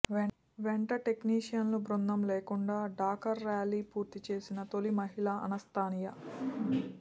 వెంట టెక్నీషియన్ల బృందం లేకుండా డాకర్ ర్యాలీ పూర్తిచేసిన తొలి మహిళ అనస్తాసియా